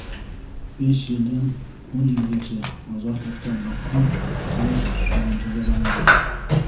besh yildan o‘n yilgacha ozodlikdan mahrum qilish bilan jazolanadi.